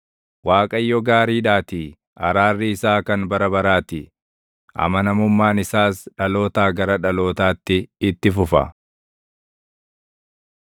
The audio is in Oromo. Waaqayyo gaariidhaatii; araarri isaa kan bara baraa ti; amanamummaan isaas dhalootaa gara dhalootaatti itti fufa.